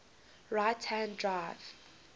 right hand drive